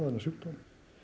þennan sjúkdóm